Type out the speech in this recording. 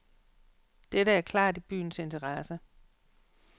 Dette er klart i byens interesse.